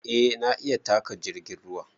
A na iya taƙa jirgin ruwa